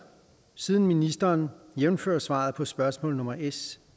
siden ministeren jævnfør svaret på spørgsmål nummer s